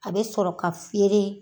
A bɛ sɔrɔ ka feere